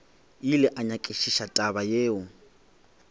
ile a nyakišiša taba yeo